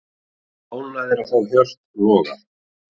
Ánægðir að fá Hjört Loga